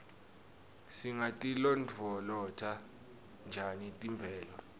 singatilondvolota njani temvelo